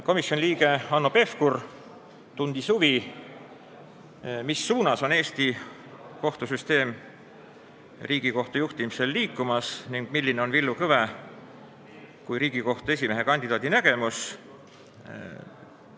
Komisjoni liige Hanno Pevkur tundis huvi, mis suunas Eesti kohtusüsteem Riigikohtu juhtimisel liigub ning milline on Villu Kõve kui Riigikohtu esimehe kandidaadi nägemus.